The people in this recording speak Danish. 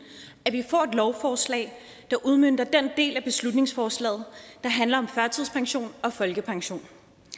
vi får et lovforslag der udmønter den del af beslutningsforslaget der handler om førtidspension og folkepension